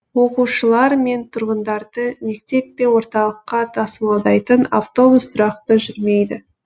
оқушылар мен тұрғындарды мектеп пен орталыққа тасымалдайтын автобус тұрақты жүрмейді